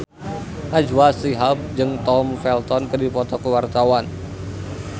Najwa Shihab jeung Tom Felton keur dipoto ku wartawan